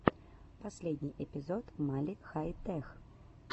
последний эпизод мали хай тех